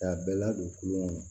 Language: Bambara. K'a bɛɛ ladon kulonkɛ kɔnɔ